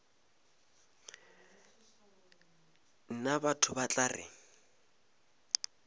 nna batho ba tla re